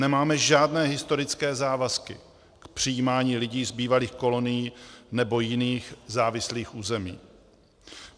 Nemáme žádné historické závazky k přijímání lidí z bývalých kolonií nebo jiných závislých území.